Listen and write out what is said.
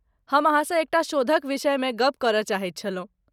हम अहाँसँ एकटा शोधक विषयमे गप करय चाहैत छलहुँ।